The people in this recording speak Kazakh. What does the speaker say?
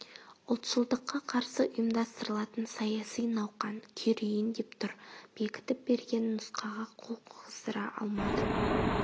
ұлтшылдыққа қарсы ұйымдастырылатын саяси науқан күйрейін деп тұр бекітіп берген нұсқаға қол қойғыздыра алмадың